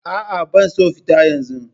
Aa, bana son fita yanzu